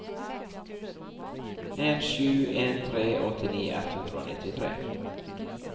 en sju en tre åttini ett hundre og nittitre